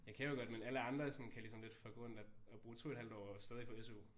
Jeg kan jo godt men alle andre sådan kan ligesom lidt fucke rundt og og bruge 2 et halvt år og stadig få SU